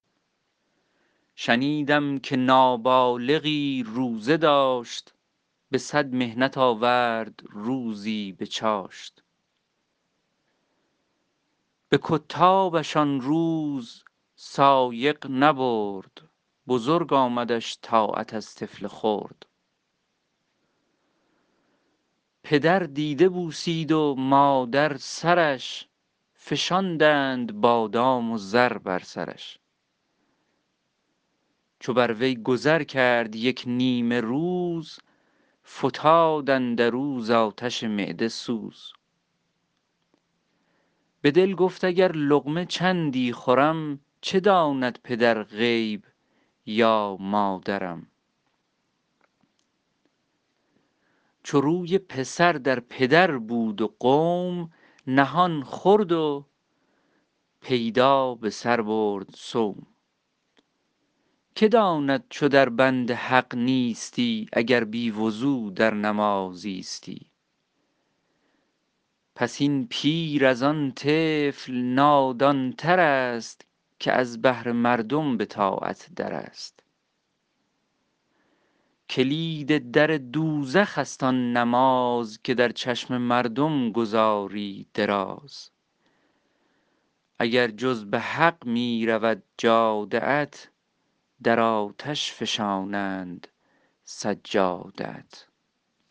شنیدم که نابالغی روزه داشت به صد محنت آورد روزی به چاشت به کتابش آن روز سایق نبرد بزرگ آمدش طاعت از طفل خرد پدر دیده بوسید و مادر سرش فشاندند بادام و زر بر سرش چو بر وی گذر کرد یک نیمه روز فتاد اندر او ز آتش معده سوز به دل گفت اگر لقمه چندی خورم چه داند پدر غیب یا مادرم چو روی پسر در پدر بود و قوم نهان خورد و پیدا به سر برد صوم که داند چو در بند حق نیستی اگر بی وضو در نماز ایستی پس این پیر از آن طفل نادان تر است که از بهر مردم به طاعت در است کلید در دوزخ است آن نماز که در چشم مردم گزاری دراز اگر جز به حق می رود جاده ات در آتش فشانند سجاده ات